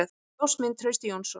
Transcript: Ljósmynd: Trausti Jónsson.